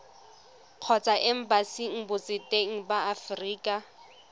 kgotsa embasing botseteng ba aforika